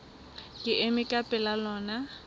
ke ema ka pela lona